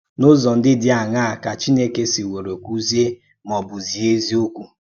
N’úzọ̀ ǹdí dị́ àṅàà kà Chínèkè sị̀wòrò kùzíè mà ọ̀ bụ̀ zíè èzíòkwú